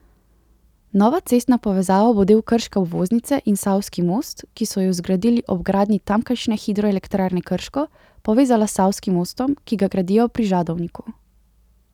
Nova cestna povezava bo del krške obvoznice in savski most, ki so ju zgradili ob gradnji tamkajšnje hidroelektrarne Krško, povezala s savskim mostom, ki ga gradijo pri Žadovinku.